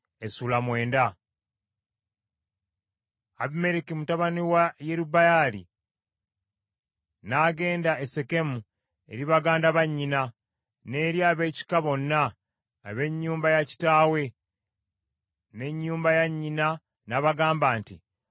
Abimereki mutabani wa Yerubbaali n’agenda e Sekemu eri baganda ba nnyina n’eri ab’ekika bonna, ab’ennyumba ya kitaawe, n’ennyumba ya nnyina n’abagamba nti,